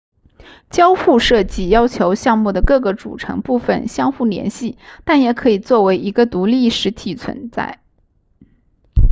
交互设计要求项目的各个组成部分相互联系但也可以作为一个独立实体存在